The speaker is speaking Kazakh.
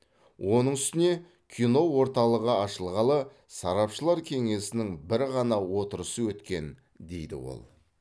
оның үстіне кино орталығы ашылғалы сарапшылар кеңесінің бір ғана отырысы өткен дейді ол